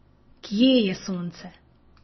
Kje je sonce?